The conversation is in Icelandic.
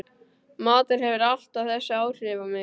Matur hefur alltaf þessi áhrif á mig